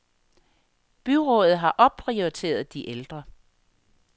Byrådet har opprioriteret de ældre.